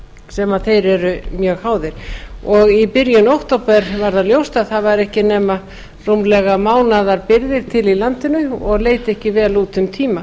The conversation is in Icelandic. sem þeir eru mjög háðir í byrjun október var það ljóst að það væri ekki nema rúmlega mánaðarbirgðir til í landinu og leit ekki vel út um tíma